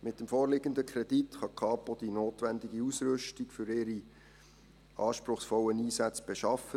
Mit dem vorliegenden Kredit kann die Kapo die notwendige Ausrüstung für ihre anspruchsvollen Einsätze beschaffen.